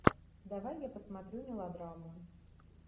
давай я посмотрю мелодраму